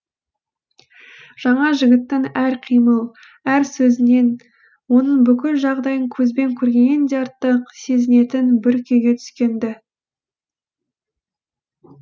жаңа жігітінің әр қимыл әр сөзінен оның бүкіл жағдайын көзбен көргеннен де артық сезінетін бір күйге түскен ді